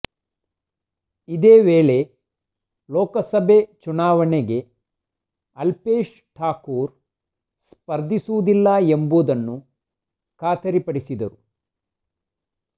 ಇದೇ ವೇಳೆ ಲೋಕಸಭೆ ಚುನಾವಣೆಗೆ ಅಲ್ಪೇಶ್ ಠಾಕೂರ್ ಸ್ಪರ್ಧಿಸುವುದಿಲ್ಲ ಎಂಬುದನ್ನು ಖಾತರಿ ಪಡಿಸಿದ್ದರು